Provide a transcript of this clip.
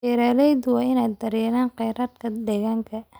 Beeraleydu waa inay daryeelaan kheyraadka deegaanka.